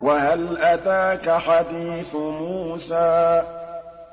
وَهَلْ أَتَاكَ حَدِيثُ مُوسَىٰ